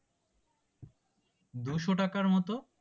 দুইশ টাকার মতো